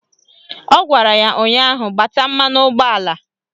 Ọ gwara ya ụnyaahụ " Gbata mmanụ ụgbọala"!